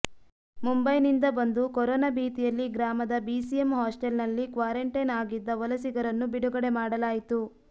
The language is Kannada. ಮುಂಬೈನಿಂದ ಬಂದು ಕೊರೋನಾ ಭೀತಿಯಲ್ಲಿ ಗ್ರಾಮದ ಬಿಸಿಎಂ ಹಾಸ್ಟೆಲ್ನಲ್ಲಿ ಕ್ವಾರಂಟೈನ್ ಆಗಿದ್ದ ವಲಸಿಗರನ್ನು ಬಿಡುಗಡೆ ಮಾಡಲಾಯಿತು